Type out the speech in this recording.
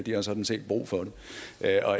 har sådan set brug for det